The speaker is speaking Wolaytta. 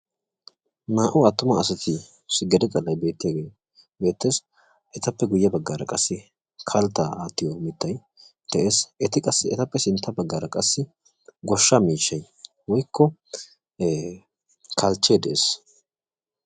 naa"u attuma assati gede bagay beettesi ettappe guyessara kalita aatiyo mittay beettesi etu sinttanikka kalichche de"eesi.